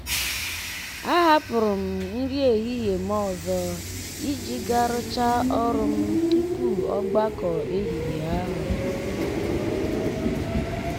a hapụru m nri ehihie m ọzọ iji ga rụchaa ọrụ m tupu ọgbakọ ehihie ahụ.